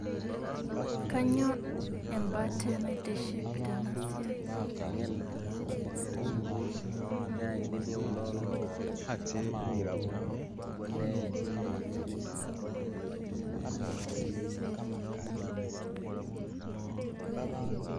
Kainyio embatee naitiship Tena siai